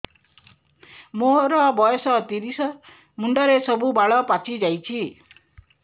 ମୋର ବୟସ ତିରିଶ ମୁଣ୍ଡରେ ସବୁ ବାଳ ପାଚିଯାଇଛି